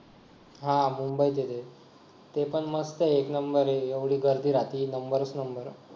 हा मुंबई दिले ते पण मस्त आहे एक number आहे एवढी गर्दी राहती number च number